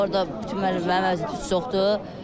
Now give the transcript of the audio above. Orda bütün mənim əziyyətim çoxdur.